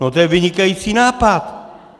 No to je vynikající nápad!